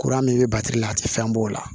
Kuran min bɛ la a tɛ fɛn b'o la